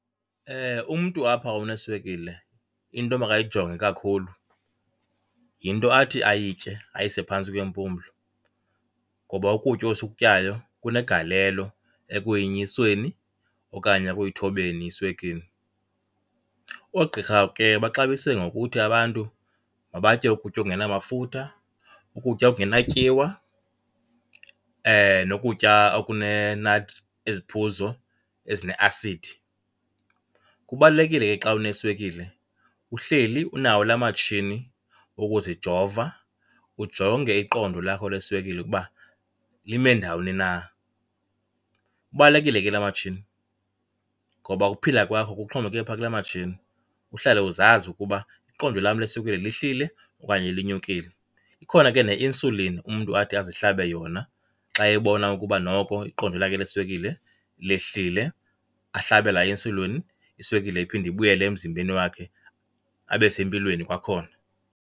Umntu apha oneswekile into emakayijonge kakhulu yinto athi ayitye, ayise phantsi kwempumlo, ngoba ukutya esikutyayo kunegalelo ekuyinyuseni okanye ekuyithobeni iswekile. Oogqirha ke baxabise ngokuthi abantu mabatye ukutya okungenamafutha, ukutya okungenatyiwa nokutya , iziphuzo ezineasidi. Kubalulekile ke xa uneswekile uhleli unawo laa matshini wokuzijova ujonge iqondo lakho leswekile ukuba lime ndawoni na. Ubalulekile ke laa matshini, ngoba ukuphila kwakho kuxhomekeke phaa kulaa matshini uhlale uzazi ukuba iqondo lam leswekile lihlile okanye linyukile. Ikhona ke ne-insulin umntu athi azihlabe yona xa ebona ukuba noko iqondo lakhe leswekile lehlile, ahlabe laa insulin iswekile iphinde ibuyele emzimbeni wakhe abe sempilweni kwakhona.